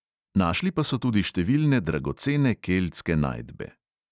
Našli pa so tudi številne dragocene keltske najdbe.